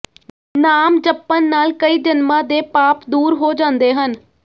ਨਾਮ ਜਪਣ ਨਾਲ ੍ਹਕਈ ਜਨਮਾਂ ਦੇ ਪਾਪ ਦੂਰ ਹੋ ਜਾਂਦੇ ਹਨ